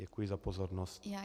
Děkuji za pozornost.